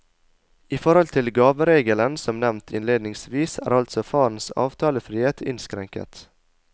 I forhold til gaveregelen som nevnt innledningsvis, er altså farens avtalefrihet innskrenket.